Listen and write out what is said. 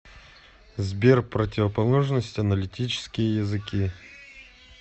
сбер противоположность аналитические языки